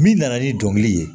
Min nana ni dɔnkili ye